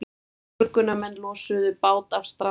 Björgunarmenn losuðu bát af strandstað